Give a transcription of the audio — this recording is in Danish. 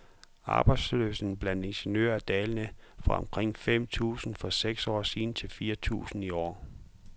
Arbejdsløsheden blandt ingeniører er dalende, fra omkring fem tusinde for seks år siden til fire tusinde i år.